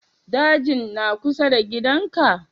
Dajin na kusa da gidan ka?